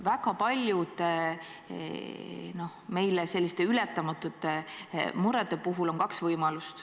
Väga paljude selliste ületamatute murede puhul on kaks võimalust.